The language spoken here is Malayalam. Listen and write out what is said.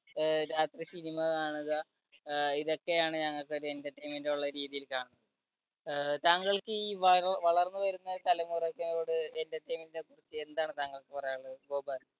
അഹ് രാത്രി cinema കാണുക അഹ് ഇതൊക്കെയാണ് ഞങ്ങൾക്ക് ഒരു entertainment രീതി കാണും. ആഹ് താങ്കൾക്ക് ഈ വ വളർന്നുവരുന്ന തലമുറയോട് entertainment നെ കുറിച്ച് എന്താണ് താങ്കൾക്ക് പറയാനുള്ളത് ഗോപാൽ